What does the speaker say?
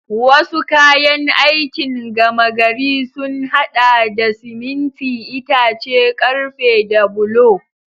Wasu kayan aikin gama gari sun haɗa da siminti, itace, ƙarfe da bulo.